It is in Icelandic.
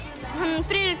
Friðrik